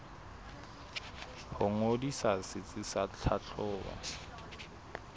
ho ngodisa setsi sa tlhahlobo